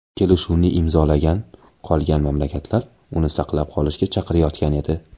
Kelishuvni imzolagan qolgan mamlakatlar uni saqlab qolishga chaqirayotgan edi.